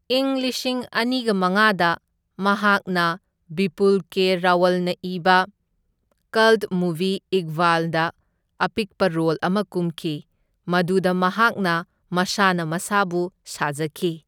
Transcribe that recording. ꯏꯪ ꯂꯤꯁꯤꯡ ꯑꯅꯤꯒ ꯃꯉꯥꯗ ꯃꯍꯥꯛꯅ ꯕꯤꯄꯨꯜ ꯀꯦ ꯔꯥꯋꯜꯅ ꯏꯕ ꯀꯜꯠ ꯃꯨꯚꯤ ꯏꯛꯕꯥꯜꯗ ꯑꯄꯤꯛꯄ ꯔꯣꯜ ꯑꯃ ꯀꯨꯝꯈꯤ, ꯃꯗꯨꯗ ꯃꯍꯥꯛꯅ ꯃꯁꯥꯅ ꯃꯁꯥꯕꯨ ꯁꯥꯖꯈꯤ꯫